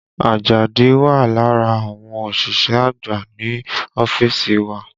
Àjàdí wà lára àwọn òṣìṣẹ́ àgbà ní ọ́fíìsì wa